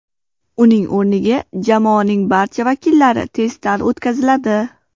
Uning o‘rniga jamoaning barcha vakillari testdan o‘tkaziladi.